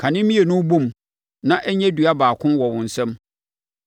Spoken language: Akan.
Ka ne mmienu bɔ mu na ɛnyɛ dua baako wɔ wo nsam.